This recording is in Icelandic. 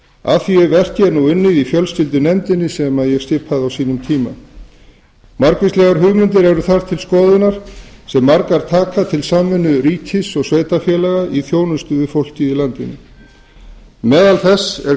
að því verki er nú unnið í fjölskyldunefndinni sem ég skipaði margvíslegar hugmyndir eru nú þar til skoðunar sem margar taka til samvinnu ríkis og sveitarfélaga í þjónustu við fólkið í landinu meðal þess er